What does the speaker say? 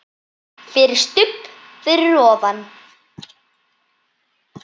FYRIR STUBB fyrir ofan.